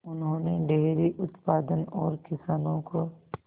उन्होंने डेयरी उत्पादन और किसानों को